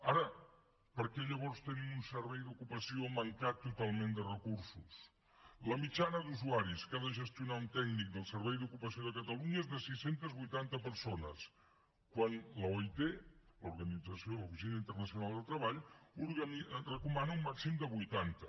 ara per què llavors tenim un servei d’ocupació mancat totalment de recursos la mitjana d’usuaris que ha de gestionar un tècnic del servei d’ocupació de catalunya és de sis cents i vuitanta persones quan l’oit l’organització internacional del treball en recomana un màxim de vuitanta